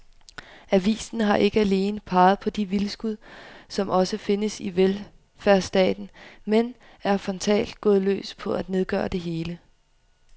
Avisen har ikke alene peget på de vildskud, som også findes i velfærdsstaten, men er frontalt gået løs på at nedgøre det hele.